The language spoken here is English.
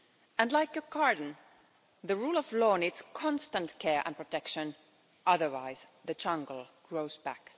And, like a garden, the rule of law needs constant care and protection, otherwise the jungle grows back.